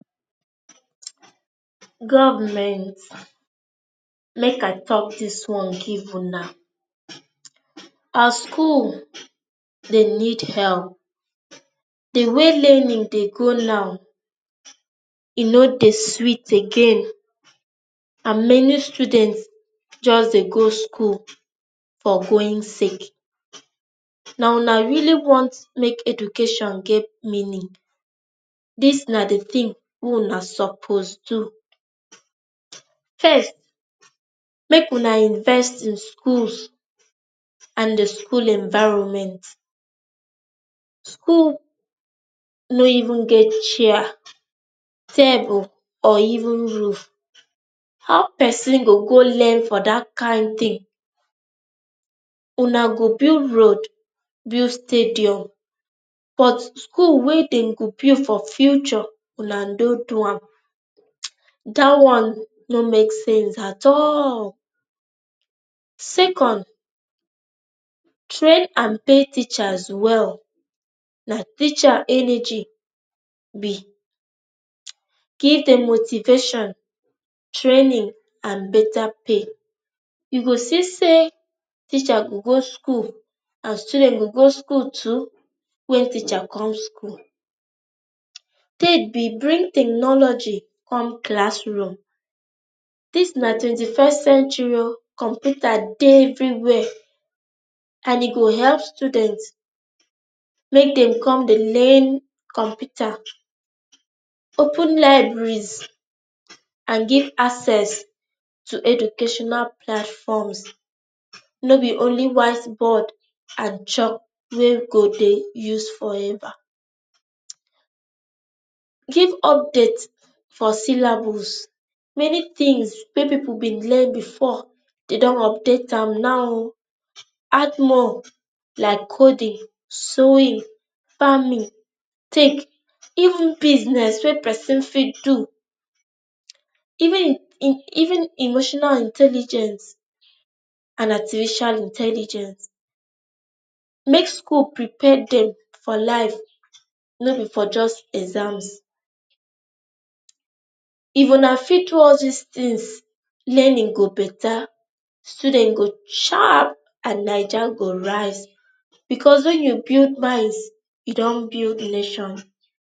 government, make i talk this one give una as school dey need help the way learning dey go now, e no dey sweet again and many student just dey go school for going sake. na una really want make education get meaning. this na the thing wey una suppose do. first, make una invest in schools and the school environment. school no even get chair, table or even roof. how person go go learn for that kain thing? una go build road, build stadium but school wey den go build for future una no do am. that one no make sense at all. second, train and pay teachers well. Na teacher energy be key to motivation, training and better pay. you go see say teacher go go school and student go go school too when teacher come school. [um]third be bring ten ology come class room. This na twenty-first century o, computer dey everywhere and e go help students make dey come dey learn computer. open libraries and give access to educational platforms, no be only white board and chalk wey dem go use forever give updates for syllabus. Many things wey people bin learn before dem dun update am now. Add more like coding, sewing, farming, cake, even business wey person fit do um even in in even emotional intelligence and artificial intelligence. make school prepare them for life, no be for just exams. if una fit do all these things learning go better, students go sharp and naija go rise, becaue when you build mindsyou dun build nations.